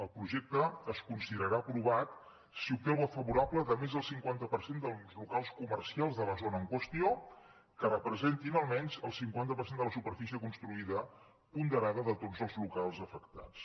el projecte es considerarà aprovat si obté el vot favorable de més del cinquanta per cent dels locals comercials de la zona en qüestió que representin almenys el cinquanta per cent de la superfície construïda ponderada de tots els locals afectats